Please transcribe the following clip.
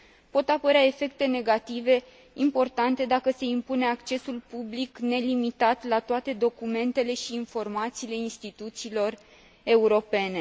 Pot apărea efecte negative importante dacă se impune accesul public nelimitat la toate documentele și informațiile instituțiilor europene.